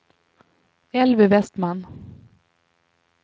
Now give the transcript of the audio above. Elvy Vestman